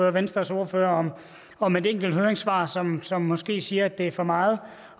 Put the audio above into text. og venstres ordfører om et enkelt høringssvar som som måske siger at det er for meget